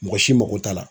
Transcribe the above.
Mɔgɔ si mako t'a la